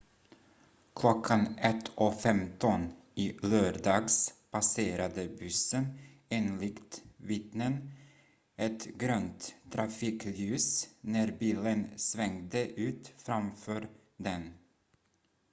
klockan 01.15 i lördags passerade bussen enligt vittnen ett grönt trafikljus när bilen svängde ut framför den